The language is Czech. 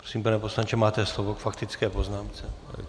Prosím, pane poslanče, máte slovo k faktické poznámce.